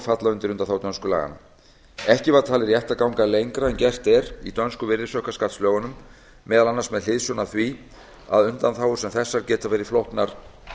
falla undir undanþágu dönsku laganna ekki var talið rétt að ganga lengra en gert er í dönsku virðisaukaskattslögunum meðal annars með hliðsjón af því að undanþágur sem þessar geta verið flóknar